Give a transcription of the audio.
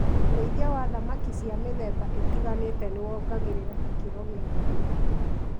ũrĩithia wa thamaki cia mĩthemba ĩtiganĩte nĩwongagĩrĩra ikĩro gia thamaki